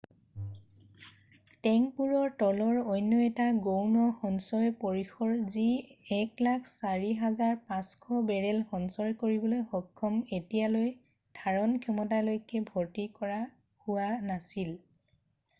টেংকবোৰৰ তলৰ অন্য এটা গৌণ সঞ্চয় পৰিসৰ যি 104,500 বেৰেল সঞ্চয় কৰিবলৈ সক্ষম এতিয়ালৈ ধাৰণ ক্ষমতালৈকে ভৰ্তি কৰা হোৱা নাছিল